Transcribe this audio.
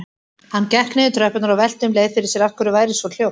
Hann gekk niður tröppurnar og velti um leið fyrir sér af hverju væri svo hljótt.